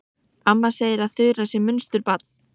Amma segir að Þura sé munsturbarn.